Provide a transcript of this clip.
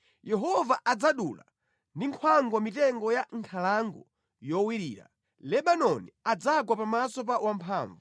Yehova adzadula ndi nkhwangwa mitengo ya mʼnkhalango yowirira; Lebanoni adzagwa pamaso pa Wamphamvu.